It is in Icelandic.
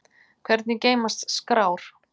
Hvernig geymast skrár?